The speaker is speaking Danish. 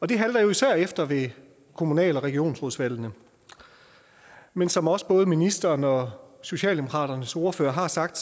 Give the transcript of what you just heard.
det halter jo især efter ved kommunal og regionsrådsvalgene men som også både ministeren og socialdemokratiets ordfører har sagt